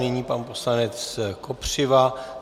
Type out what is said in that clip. Nyní pan poslanec Kopřiva.